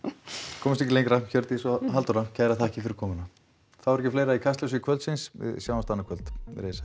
komumst ekki lengra Hjördís og Halldóra kærar þakkir fyrir komuna þá er ekki fleira í Kastljós kvöldsins við sjáumst annað kvöld verið þið sæl